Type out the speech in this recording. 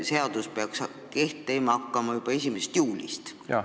Seadus peaks kehtima hakkama juba 1. juulil.